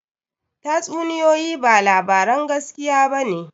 Tatsuniyoyi ba labaran gaskiya ba ne